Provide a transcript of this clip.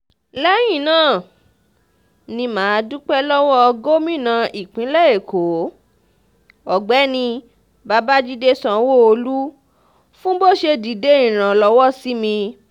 lẹ́yìn náà ni mà á dúpẹ́ lọ́wọ́ gómìnà ìpínlẹ̀ èkó ọ̀gbẹ́ni babájídé sanwóolu fún bó ṣe dìde ìrànlọ́wọ́ sí mi